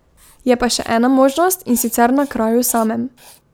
Je pa še ena možnost, in sicer na kraju samem.